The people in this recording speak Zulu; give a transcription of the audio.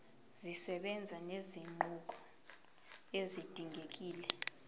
zisebenza nezinguquko ezidingekile